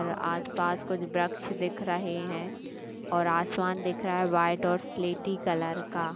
आस पास कुछ वृक्ष दिखे रहे है और आसमान दिख रहा वाइट और सेलेटी कलर का --